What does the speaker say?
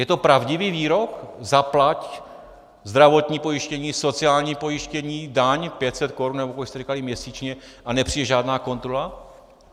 Je to pravdivý výrok zaplať zdravotní pojištění, sociální pojištění, daň 500 korun, nebo kolik jste říkali, měsíčně, a nepřijde žádná kontrola?